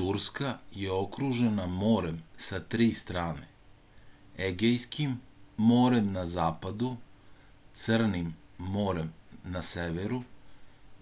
turska je okružena morem sa tri strane egejskim morem na zapadu crnim morem na severu